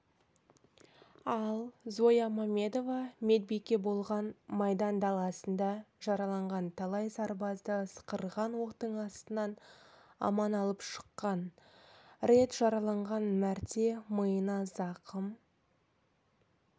ал зоя мамедова медбике болған майдан даласында жараланған талай сарбазды ысқырған оқтың астынан аман алып шыққан рет жараланған мәрте миына зақым